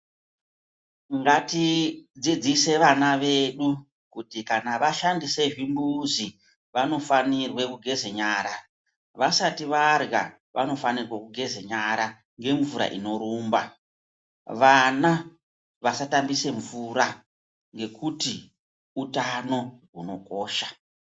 Ngatidzidzise vana vedu kuti kana vashandise zvimbuzi vanofanirwe kugeze nyara vasati varya vanofanike kugeze nyara ngemvura inorumba vana vasatambise mvura ngekuti utano hunokosha.